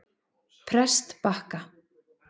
Prestbakka